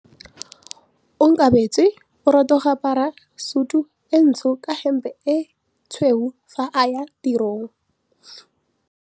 Onkabetse o rata go apara sutu e ntsho ka hempe e tshweu fa a ya tirong.